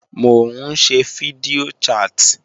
Mò ń ṣe fídíò chat